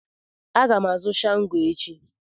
Aga m azụ shango echi.